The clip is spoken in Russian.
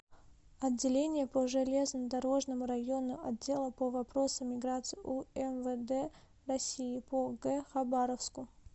отделение по железнодорожному району отдела по вопросам миграции умвд россии по г хабаровску